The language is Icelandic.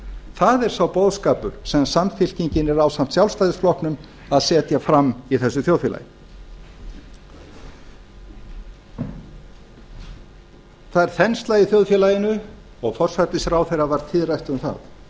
það er sá boðskapur sem samfylkingin er ásamt sjálfstæðisflokknum að setja fram í þessu þjóðfélagi það er þensla í þjóðfélaginu og forsætisráðherra var tíðrætt um það